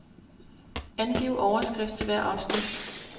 Angiv overskrift til hvert afsnit.